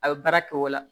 A bɛ baara kɛ o la